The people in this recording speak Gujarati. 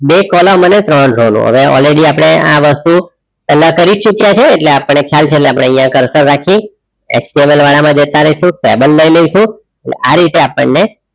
બે column અને ત્રણ row લઉ હવે already આપણે આ વસ્તુ પેલા કરી ચૂક્યા છે. એટલે આપણને ખ્યાલ છે. એટલે આપણે અહીંયા coarser રાખીએ explorer વાળામાં જતા રહીશું table લઈ લઈશું. અને આ રીતે આપણને